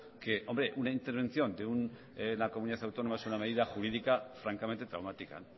que hombre una intervención de una comunidad autónoma es una medida jurídica francamente traumática